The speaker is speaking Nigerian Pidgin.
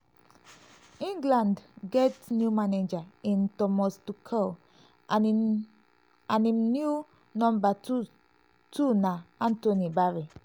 england get new manager in thomas tuchel and im new number two two na anthony barry.